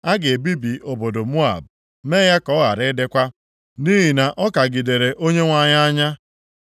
A ga-ebibi obodo Moab, mee ya ka ọ ghara ịdịkwa, nʼihi na ọ kagidere Onyenwe anyị anya.